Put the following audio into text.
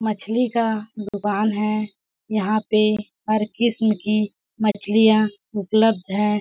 मछली का दुकान है यहाँ पे हर किस्म की मछलियाँ उपलब्ध है। .